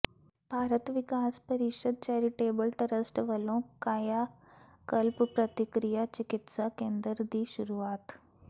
Bharat Vikas Parishad charitable trust ਵੱਲੋਂ ਕਾਇਆ ਕਲਪ ਪ੍ਰਾਕ੍ਰਿਤਿਕ ਚਿਕਿਤਸਾ ਕੇਂਦਰ ਦੀ ਸ਼ੁਰੂਆਤ